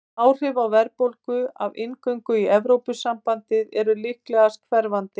Áhrifin á verðbólgu af inngöngu í Evrópusambandið eru líklegast hverfandi.